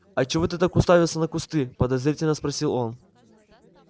а чего ты так уставился на кусты подозрительно спросил он